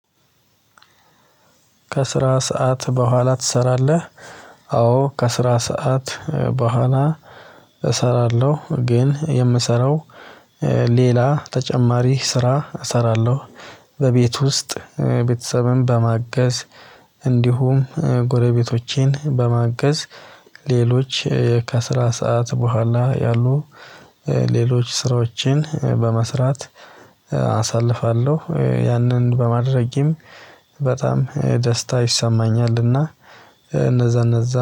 ከስራ ሰዓት በኋላ ትሰራለህ? አዎ ከስራ ሰዓት በኋላ እሰራለሁ ግን የምሰራው ሌላ ተጨማሪ ስራ እሰራለሁ። በቤት ውስጥ ቤተሰብም በማገዝ እንዲሁም ጎረቤቶቼን በማገዝ ሌሎች ከስራ ሰዓት በኋላ ያሉ ሌሎች ስራዎችን በመስራት አሳልፋለሁ ያንን በማድረጌም በጣም ደስታ ይሰማኛልና። እነዛ እነዛ